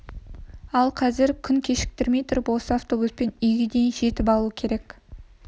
ал қазір күн кешкірмей тұрып осы автобуспен үйге дейін жетіп алу керек